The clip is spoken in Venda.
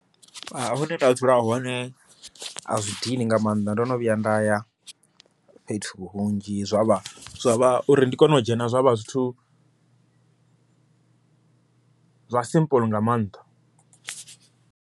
Hune nda dzula hone a zwi dini nga maanḓa, ndo no vhuya nda ya fhethu hunzhi zwavha zwa vha uri ndi kone u dzhena zwavha zwithu zwa simple nga maanḓa.